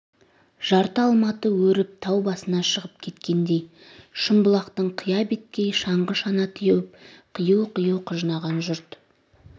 жарты алматы өріп тау басына шығып кеткендей шымбұлақтың қия беткей шаңғы-шана теуіп қию-қию құжынаған жұрт